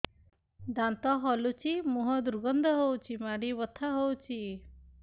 ଦାନ୍ତ ହଲୁଛି ମୁହଁ ଦୁର୍ଗନ୍ଧ ହଉଚି ମାଢି ବଥା ହଉଚି